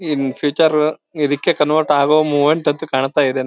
ಇನ್ future ಇದಕ್ಕೆ convert ಆಗೋ movement ಅಂತ ಕಾಣ್ತ ಇದೆ.